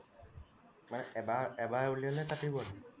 মানে এবাৰ এবাৰ উলিয়ালে কাটিবই